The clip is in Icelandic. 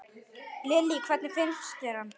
Lillý: Hvernig finnst þér hann?